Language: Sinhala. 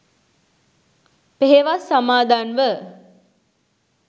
පෙහෙවස් සමාදන්ව